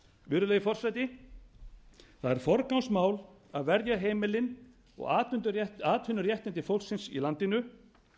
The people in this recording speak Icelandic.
virðulegi forseti það er forgangsmál að verja heimilin og atvinnuréttindi fólksins í landinu